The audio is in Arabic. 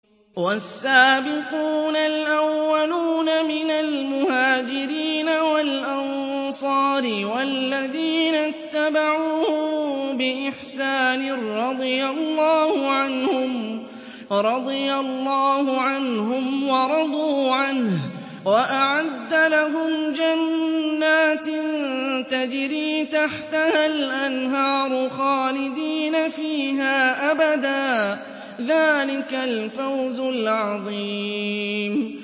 وَالسَّابِقُونَ الْأَوَّلُونَ مِنَ الْمُهَاجِرِينَ وَالْأَنصَارِ وَالَّذِينَ اتَّبَعُوهُم بِإِحْسَانٍ رَّضِيَ اللَّهُ عَنْهُمْ وَرَضُوا عَنْهُ وَأَعَدَّ لَهُمْ جَنَّاتٍ تَجْرِي تَحْتَهَا الْأَنْهَارُ خَالِدِينَ فِيهَا أَبَدًا ۚ ذَٰلِكَ الْفَوْزُ الْعَظِيمُ